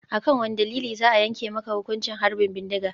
A kan wane dalili za a yanke maka hukuncin harbin bindiga?